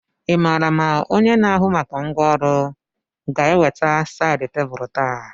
Ị maara ma onye na-ahụ maka ngwá ụlọ ga-eweta sáyid tebụlu taa?